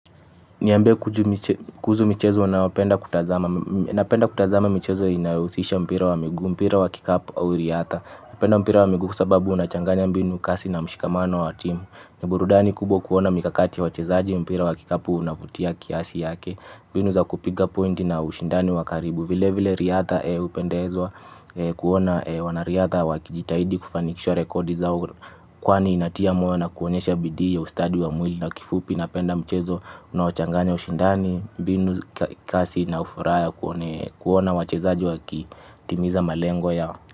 Niambie kuhuzu michezo uaopenda kutazama napenda kutazama michezo inayohusisha mpira wa migu, mpira wa kikapu au riatha napenda mpira wa miguu kwasababu unachanganya mbinu kasi na mshikamano wa team. Niburudani kubwa kuona mikakati ya wachezaji mpira wa kikapu unavutia kiasi yake mbinu za kupiga pointi na ushindani wakaribu. Vile vile riatha upendezwa kuona wanariatha wakijitahidi kufanikisha rekodi zao. Kwani inatia moyo na kuonyesha bidii ya ustadi wa mwili na kifupi na penda mchezo unao changanya ushindani, mbinu kasi na ufuraha ya kuona wachezaji waki, timiza malengo yao.